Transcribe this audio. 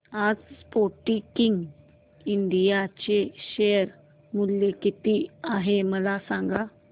आज Sportking India चे share मूल्य किती आहे मला सांगा